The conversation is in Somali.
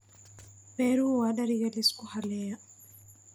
Beeruhu waa dariiqa la isku halleeyo.